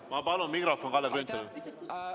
Ma palun mikrofoni Kalle Grünthalile!